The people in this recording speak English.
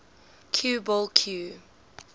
cue ball cue